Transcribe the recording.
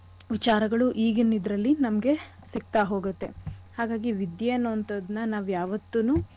ವಿಚಾರಗಳು ಈಗಿನ್ ಇದ್ರಲ್ಲಿ ನಮ್ಗೆ ಸಿಗ್ತಾ ಹೋಗತ್ತೆ. ಹಾಗಾಗಿ ವಿದ್ಯೆ ಅನ್ನೋ ಅಂಥದ್ನ ನಾವ್ ಯಾವತ್ತೂನು ಕಡೆಗಾಣಿಸ್ಬಾರ್ದು.